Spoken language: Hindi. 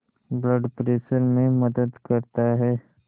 ब्लड प्रेशर में मदद करता है